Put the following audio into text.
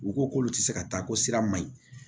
U ko k'olu tɛ se ka taa ko sira ma yen